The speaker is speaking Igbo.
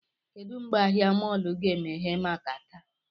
Kedụ mgbe ahịa mọọlụ ga-emeghe maka taa?